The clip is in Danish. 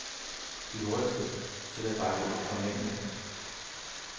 De hurtigste til at bakke ud var mændene.